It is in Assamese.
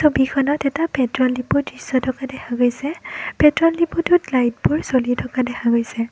ছবিখনত এটা পেট্ৰলডিপো দৃশ্য থকা দেখা গৈছে পেট্ৰলডিপোটোত লাইটবোৰ জ্বলি থকা দেখা গৈছে।